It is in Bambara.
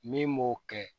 Min m'o kɛ